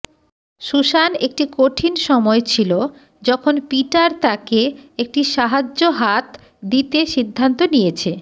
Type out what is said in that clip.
Susan একটি কঠিন সময় ছিল যখন পিটার তাকে একটি সাহায্য হাত দিতে সিদ্ধান্ত নিয়েছে